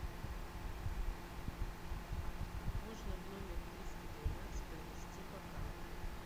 можно в номер триста двенадцать принести бокалы